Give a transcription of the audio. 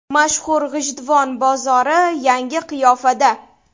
Mashhur G‘ijduvon bozori yangi qiyofada .